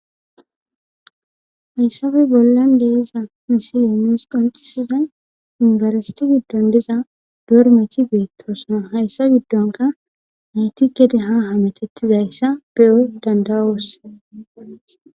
hayssappe bollan de'iza misile nuus qoncisizay yumibersti giddon diza doormachi beettoson hayssa giddonka nayti gede ha hamatettizayssa be7o danda'oos